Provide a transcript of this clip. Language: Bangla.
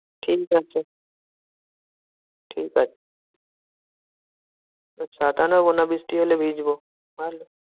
ঠিকাছে, ঠিকাছে, ছাতা নেবোনা বৃষ্টি হলে ভিজবো, ভালো।